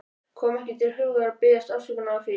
Kom ekki til hugar að biðjast afsökunar á því.